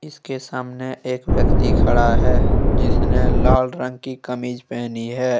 इसके सामने एक व्यक्ति खड़ा है जिसने लाल रंग की कमीज पहनी है।